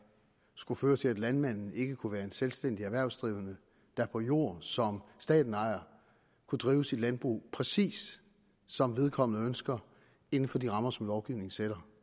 skulle føre til at landmanden ikke kunne være en selvstændig erhvervsdrivende der på jord som staten ejer kunne drive sit landbrug præcis som vedkommende ønsker inden for de rammer som lovgivningen sætter